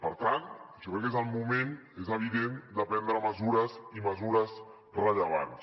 per tant jo crec que és el moment és evident de prendre mesures i mesures rellevants